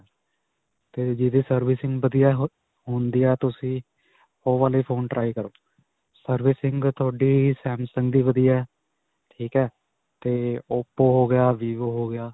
'ਤੇ ਜਿਸਦੀ servicing ਵਧੀਆ ਹੁੰਦੀ ਹੈ, ਤੁਸੀਂ ਓਹ ਵਾਲੇ phone try ਕਰੋ. servicing ਤੁਹਾਡੀ samsung ਦੀ ਵਧੀਆ ਹੈ. ਠੀਕ ਹੈ, 'ਤੇ oppo ਹੋ ਗਿਆ, vivo ਹੋ ਗਿਆ.